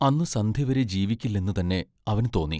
അന്നു സന്ധ്യവരെ ജീവിക്കില്ലെന്നുതന്നെ അവനു തോന്നി.